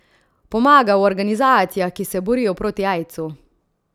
Pomaga v organizacijah, ki se borijo proti aidsu.